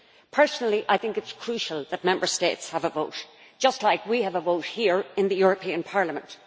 Personally, I think it is crucial that Member States have a vote just like we have a vote here in the European Parliament.